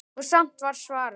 Og samt var svarað.